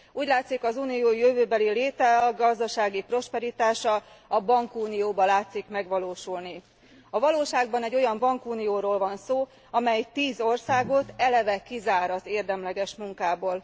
Úgy látszik, az Unió jövőbeli léte, gazdasági prosperitása a bankunióban látszik megvalósulni. A valóságban egy olyan bankunióról van szó, amely tíz országot eleve kizár az érdemleges munkából.